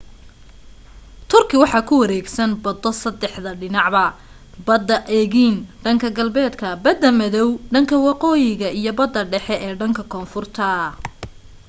turkey waxaa ku wareegsan bado saddexda dhinacba bada aegean dhanka galbeedka bada madow dhanka waqooyi iyo bada dhexe ee dhanka konfurta